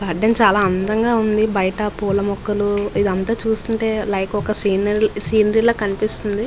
చాలా అందంగా ఉంది. అండ్ బయట పూల మొక్కలు ఇదంతా చూస్తుంటే లైక్ ఒక సినరీలా సినరీలా కనిపిస్తుంది.